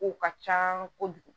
Kow ka ca kojugu